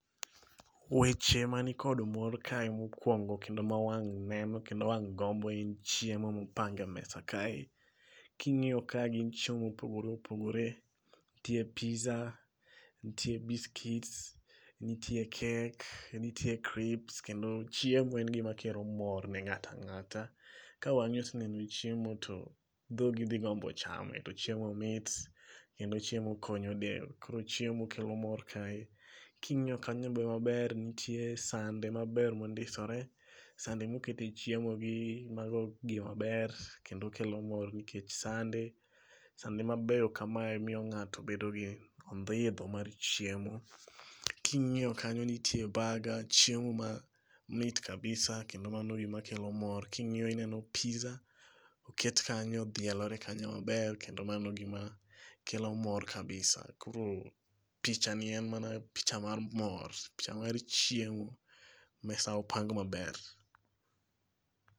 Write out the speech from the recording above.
Weche man kod mor kae mokuongo kendo ma wang' neno kendo wang' gombo en chiemo mopang e mesa kae. King'iyo kae gin chiemo ma opogore opogore, nitie pizza, nitie biscuits, nitie cake, nitie crips kendo chiemo en gima kelo mor ne ng'ato ang'ata. Ka wang'i oseneno chiemo to dhogi dhi gombo chame to chiemo mit kendo chiemo konyo del. Koro chiemo kelo mor kae. Ka ing'iyo kanyo maber, nitie sande maber mondisore, sande mokete chiemo gi mago gima ber kendo kelo mor nikech sande sande ma beyo kamae miyo ng'ato bedo gi ondhidho mar chiemo. king'iyo kanyo nitie burga ,chiemo ma mit kabisa kendo mano gima kelo mor. Ka ing'iyo ineno pizza oket kanyo odhielore kanyo maber kendo mano gima kelo mor kabisa koro picha ni en mana picha mar mor picha mar chiemo mesa opang maber.